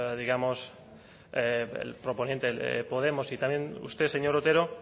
digamos el proponente podemos y también usted señor otero